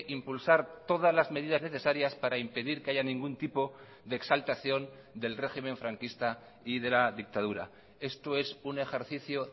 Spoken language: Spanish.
impulsar todas las medidas necesarias para impedir que haya ningún tipo de exaltación del régimen franquista y de la dictadura esto es un ejercicio